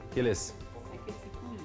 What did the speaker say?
келесі